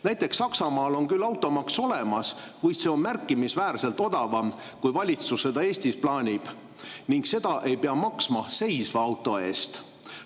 Näiteks Saksamaal on küll automaks olemas, kuid see on märkimisväärselt väiksem, kui valitsus seda Eestis plaanib, ning seda ei pea maksma seisva auto eest.